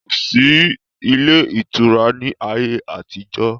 Kosi ilé ìtura ni ayé àtijọ́